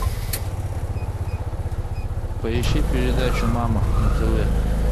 поищи передачу мама на тв